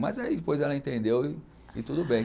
Mas aí depois ela entendeu e e tudo bem.